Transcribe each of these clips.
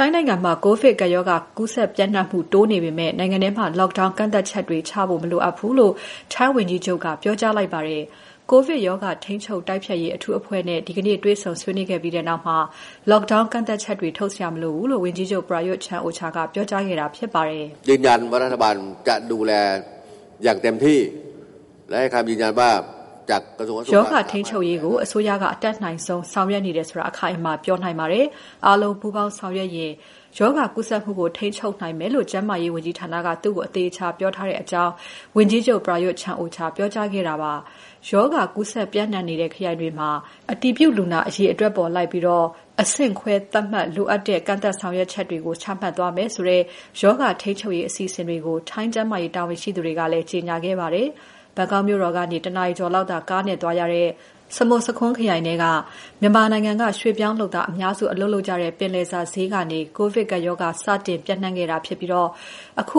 ိုင်းနိုင်ငံမှာ ကိုဗစ်ကပ်ရောဂါ ကူးစက်ပျံ့နှံ့မှု တိုးနေပေမဲ့ နိုင်ငံထဲမှာ lockdown ကန့်သတ်ချက်တွေချဖို့ မလိုအပ်ဘူးလို့ ထိုင်းဝန်ကြီးချုပ်က ပြောကြားလိုက်ပါတယ်။ ကိုဗစ်ရောဂါ ထိန်းချုပ်တိုက်ဖျက်ရေး အထူးအဖွဲ့နဲ့ ဒီကနေ့ တွေ့ဆုံဆွေးနွေးခဲ့ပြီးနောက် Lockdown ကန့်သတ်ချက်တွေ ထုတ်စရာမလိုဘူးလို့ ဝန်ကြီးချုပ် Prayuth Chan-ocha က ပြောကြားခဲ့တာဖြစ်ပါတယ်။ "ရောဂါထိန်းချုပ်ရေးကို အစိုးရက အတတ်နိုင်ဆုံး ဆောင်ရွက်နေတယ်ဆိုတာ အခိုင်အမာပြောနိုင်ပါတယ်။ အားလုံးပူးပေါင်းဆောင်ရွက်ရင် ရောဂါကူးစက်မှုကို ထိန်းချုပ်နိုင်မယ်ဆိုတာ ကျန်းမာရေးဝန်ကြီးဌာနက သူ့ကို အသေအချာပြောထားပါတယ်။" လို့ ဝန်ကြီးချုပ် Prayuth Chan-ocha ကပြောပါတယ်။ ရောဂါကူးစက်ပျံ့နှံ့နေတဲ့ ခရိုင်တွေမှာ အတည်ပြုလူနာအရေအတွက်အလိုက် အဆင့်ခွဲသတ်မှတ်ပြီး လိုအပ်တဲ့ ကန့်သတ်ဆောင်ရွက်ချက်တွေ ချမှတ်သွားမယ်ဆိုတဲ့ ရောဂါထိန်းချုပ်ရေးအစီအစဉ်တွေကို ထိုင်းကျန်းမာရေး တာဝန်ရှိသူတွေကလည်း ကြေညာခဲ့ပါတယ်။ ဘန်ကောက်မြို့တော်ကနေ ၁ နာရီကျော်လောက်သာ ကားနဲ့သွားရတဲ့ စမွတ်ဆာခွန်းခရိုင်ထဲက မြန်မာ ရွှေ့ပြောင်းလုပ်သားအများစု အလုပ်လုပ်ကြတဲ့ ပင်လယ်စာဈေးကနေ ကိုဗစ်ကပ်ရောဂါ စတင်ပြန့်ခဲ့တာဖြစ်ပြီး အခု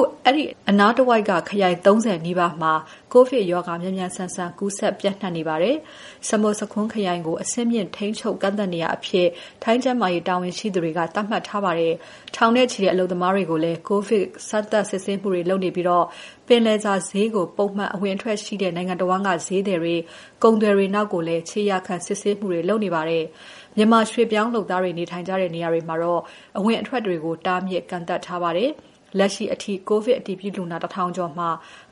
အနားတဝိုက်က ခရိုင် ၃၀ နီးပါးမှာ ကိုဗစ်ရောဂါ မြန်မြန်ဆန်ဆန် ကူးစက်ပျံ့နှံ့နေပါတယ်။ စမွတ်ဆာခွန်းခရိုင်ကို အဆင့်မြင့် ထိန်းချုပ်ကန့်သတ်နေရာအဖြစ် ထိုင်းကျန်းမာရေးတာဝန်ရှိသူတွေက သတ်မှတ်ထားပါတယ်။ ထောင်နဲ့ချီတဲ့ အလုပ်သမားတွေကိုလည်း ကိုဗစ် စမ်းသပ် စစ်ဆေးမှုတွေ လုပ်နေပြီး ပင်လယ်စာဈေးကို ပုံမှန်အဝင်အထွက်ရှိတဲ့ နိုင်ငံတဝန်းက ဈေးသည်တွေ ကုန်သည်တွေနောက်ကိုလည်း ခြေရာခံ ဆေးစစ်မှုတွေ လုပ်နေပါတယ်။ မြန်မာရွှေ့ပြောင်းလုပ်သားတွေ နေထိုင်ကြတဲ့ နေရာတွေမှာတော့ အဝင်အထွက်တွေကို တားမြစ်ကန့်သတ်ထားပါတယ်။ လက်ရှိအထိ ကိုဗစ်အတည်ပြုလူနာ ၁,၀၀၀ ကျော်မှာ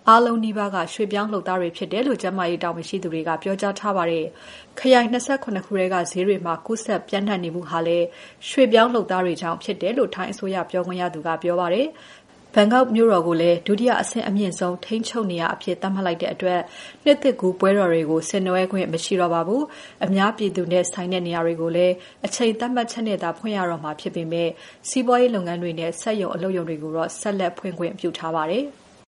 အားလုံးနီးပါးက ရွှေ့ပြောင်းလုပ်သားတွေဖြစ်တယ်လို့ ကျန်းမာရေးတာဝန်ရှိသူတွေက ပြောကြားထားပါတယ်။ ခရိုင် ၂၇ ခုက ဈေးတွေမှာ ကူးစက်ပျံ့နှံ့နေမှုဟာလည်း ရွှေ့ပြောင်းလုပ်သားတွေကြောင့် ဖြစ်တယ်လို့ ထိုင်းအစိုးရပြောခွင့်ရသူက ပြောပါတယ်။ ဘန်ကောက်မြို့တော်ကို ဒုတိယအဆင့်အမြင့်ဆုံး ထိန်းချုပ်နေရာအဖြစ် သတ်မှတ်လိုက်တဲ့အတွက် နှစ်သစ်ကူးပွဲတော်တွေကို ဆင်နွဲှခွင့် မရှိတော့ပါဘူး။ အများပြည်သူနဲ့ဆိုင်တဲ့နေရာတွေကိုလည်း အချိန်သတ်မှတ်ချက်နဲ့သာ ဖွင့်ရတော့မှာဖြစ်ပေမဲ့ စီးပွားရေးလုပ်ငန်းတွေနဲ့ စက်ရုံအလုပ်ရုံတွေကိုတော့ ဆက်လက် ဖွင့်ခွင့်ပြုထားပါတယ်။